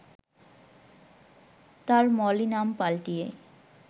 তার মলি নাম পাল্টিয়ে